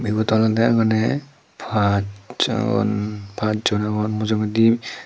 ibet olode mane paj jon pajjon agon mujungedi.